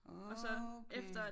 Okay